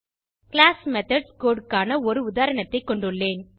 class methods code க்கான ஒரு உதாரணத்தை கொண்டுள்ளேன்